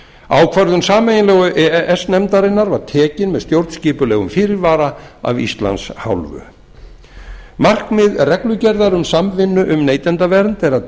ákvörðun sameiginlegu e e s nefndarinnar var tekin með stjórnskipulegum fyrirvara af íslands hálfu markmið reglugerðar um samvinnu um neytendavernd er að